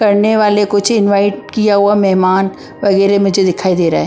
करने वाले कुछ इनवाइट किया हुआ मेहमान वगैरह मुझे दिखाई दे रहा है ।